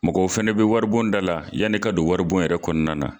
Mɔgɔw fana bɛ waribon da la yan'i ka don waribon yɛrɛ kɔnɔna na.